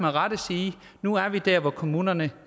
nu er vi der hvor kommunerne